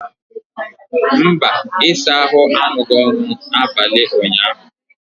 mba, ịsa ahụ arụghị ọrụ n'abalị ụnyaahụ